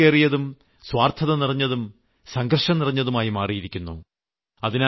ജീവിതം തിരക്കേറിയതും സ്വാർത്ഥത നിറഞ്ഞതും സംഘർഷം നിറഞ്ഞതുമായി മാറിയിരിക്കുന്നു